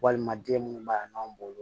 Walima den munnu b'a bɔn